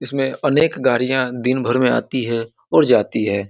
इसमें अनेक गाड़ियाँ दिनभर में आती है और जाती है।